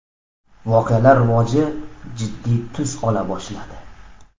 Voqealar rivoji jiddiy tus ola boshladi.